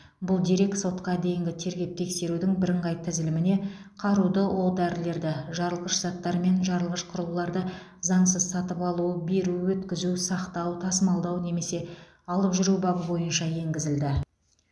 бұл дерек сотқа дейінгі тергеп тексерудің бірыңғай тізіліміне қаруды оқ дәрілерді жарылғыш заттар мен жарылғыш құрылғыларды заңсыз сатып алу беру өткізу сақтау тасымалдау немесе алып жүру бабы бойынша енгізілді